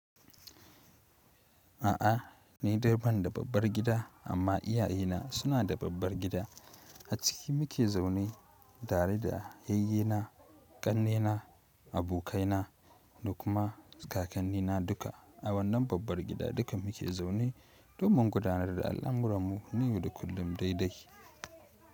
A'a ni dai banda babbar gida, amma iyaye na suna da babbar gida a ciki muke zaune tare da yayye na, kanne na, abokai na, da kuma kakanni na duka a wannan babbar gida duka muke zaune domin gudanar da al'amuran mu na yau da kullum daidai.